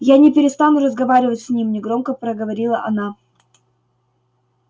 я не перестану разговаривать с ним негромко проговорила она